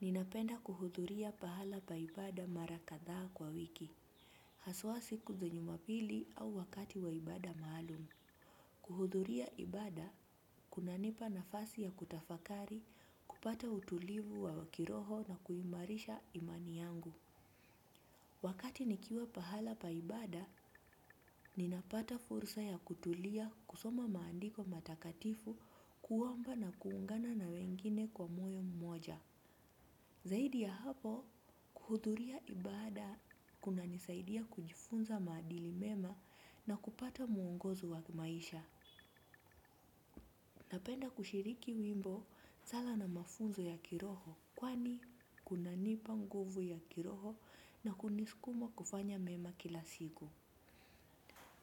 Ninapenda kuhudhuria pahala pa ibada mara kadhaa kwa wiki. Haswa siku za jumapili au wakati wa ibada maalumu. Kuhudhuria ibada, kunanipa nafasi ya kutafakari, kupata utulivu wa kiroho na kuimarisha imani yangu. Wakati nikiwa pahala pa ibada, ninapata fursa ya kutulia kusoma maandiko matakatifu kuomba na kuungana na wengine kwa moyo mmoja. Zaidi ya hapo kuhudhuria ibada kunanisaidia kujifunza maadili mema na kupata mwongozo wa maisha. Napenda kushiriki wimbo sala na mafunzo ya kiroho kwani kunanipa nguvu ya kiroho na kunisikuma kufanya mema kila siku.